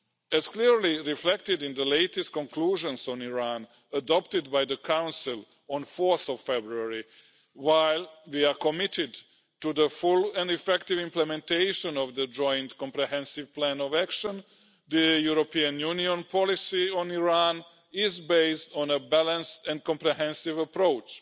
As clearly reflected in the latest conclusions on Iran, adopted by the Council on 4 February, while we are committed to the full and effective implementation of the joint comprehensive plan of action, the European Union policy on Iran is based on a balanced and comprehensive approach,